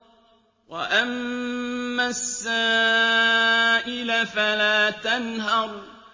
وَأَمَّا السَّائِلَ فَلَا تَنْهَرْ